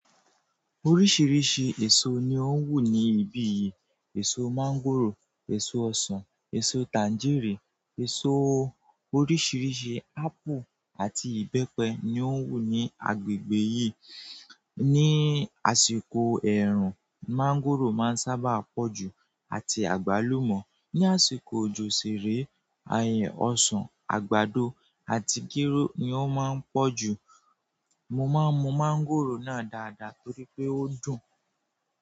Oríṣìíríṣìí èso ni ó wù ní ibí yìí, èso máńgòrò, èso ọsàn, èso tanjérìnì, èso oríṣìíríṣìí ápù àti ìbẹ́pẹ ni ó hù ní agbègbè yìí. Ni àsìkò ẹ̀ẹ̀rùn, máńgòrò máa ń sábà pọ̀ jù àti àgbálùmọ̀. Ni àsìkò òjò sìrèé, àè ọsàn, àgbàdo àti gírò ni ó máa ń pọ̀ jù. Mo máa ń mú máńgòrò náà dáadáa torí pé ó dùn.